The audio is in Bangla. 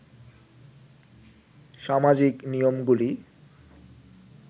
সামাজিক নিয়মগুলি